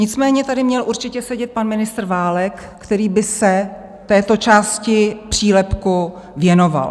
Nicméně tady měl určitě sedět pan ministr Válek, který by se této části přílepku věnoval.